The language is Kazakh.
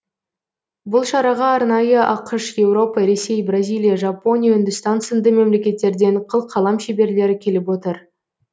бұл шараға арнайы ақш еуропа ресей бразилия жапония үндістан сынды мемлекеттерден қылқалам шеберлері келіп отыр